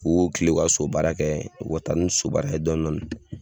U kilen u ka sobaara kɛ u ka taa ni sobaara ye dɔni dɔni.